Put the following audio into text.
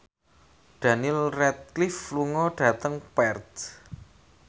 Daniel Radcliffe lunga dhateng Perth